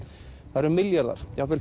það eru milljarðar jafnvel